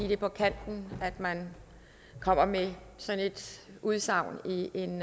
det er på kanten af at man kommer med sådan et udsagn i en